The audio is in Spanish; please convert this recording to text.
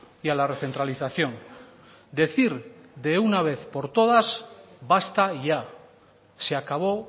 y a la recentralización decir de una vez por todas basta ya se acabó